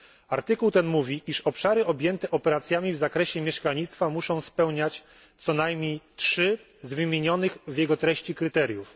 Artykuł ten mówi, iż obszary objęte operacjami w zakresie mieszkalnictwa muszą spełniać co najmniej trzy z wymienionych w jego treści kryteriów.